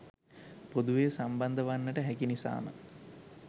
පොදුවේ සම්බන්ධ වන්නට හැකි නිසාම